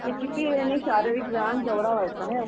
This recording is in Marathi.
किती यानी शारीरिक व्यायाम केवढा व्हायचा नाही.